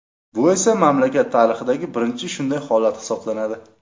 Bu esa mamlakat tarixidagi birinchi shunday holat hisoblanadi.